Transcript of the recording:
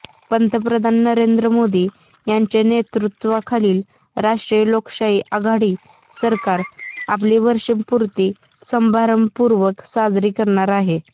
पंतप्रधान नरेंद्र मोदी यांच्या नेतृत्वाखालील राष्ट्रीय लोकशाही आघाडी सरकार आपली वर्षपूर्ती समारंभपूर्वक साजरी करणार आहे